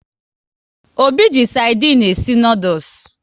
Obi ji sardinu e si noodules